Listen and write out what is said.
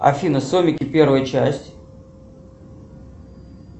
афина сомики первая часть